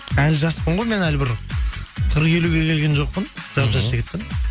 әлі жаспын ғой мен әлі бір қырық елуге келген жоқпын жап жас жігітпін